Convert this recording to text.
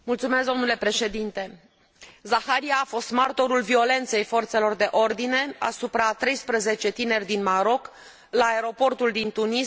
Zakaria a fost martorul violențelor forțelor de ordine asupra a 13 tineri din Maroc, la aeroportul din Tunis, pe 13 noiembrie.